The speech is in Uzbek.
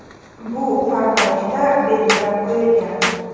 Bu farmoyishda belgilab qo‘yilgan.